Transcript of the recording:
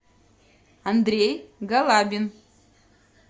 андрей галабин